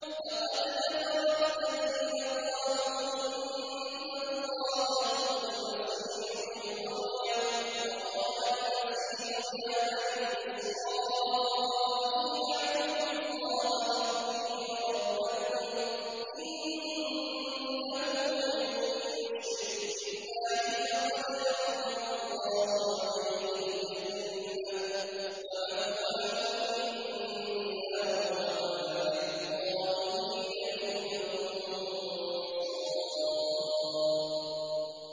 لَقَدْ كَفَرَ الَّذِينَ قَالُوا إِنَّ اللَّهَ هُوَ الْمَسِيحُ ابْنُ مَرْيَمَ ۖ وَقَالَ الْمَسِيحُ يَا بَنِي إِسْرَائِيلَ اعْبُدُوا اللَّهَ رَبِّي وَرَبَّكُمْ ۖ إِنَّهُ مَن يُشْرِكْ بِاللَّهِ فَقَدْ حَرَّمَ اللَّهُ عَلَيْهِ الْجَنَّةَ وَمَأْوَاهُ النَّارُ ۖ وَمَا لِلظَّالِمِينَ مِنْ أَنصَارٍ